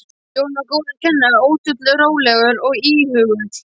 Jón var góður kennari, ötull, rólegur og íhugull.